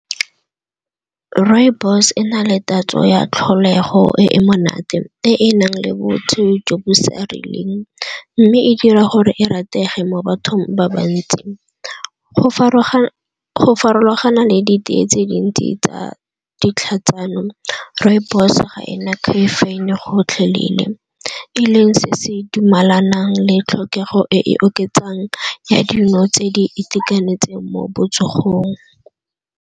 Rooibos e na le tatso ya tlholego e e monate, e e nang le botho jo bo sa rileng mme e e dira gore e ratege mo bathong ba ba ntsi. go farologana le ditee tse dintsi tsa ditlhatsano rooibos ga ena caffeine gotlhelele, e leng se se dumalanang le tlhokego e e oketsang ya dino tse di itekanetseng mo botsogong.